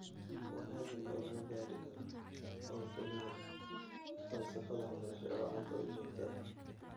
Wanaaggan oo lagu gaadhi karo oo keliya falsafad waxbarasho oo cad oo joogto ah.